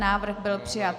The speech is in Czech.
Návrh byl přijat.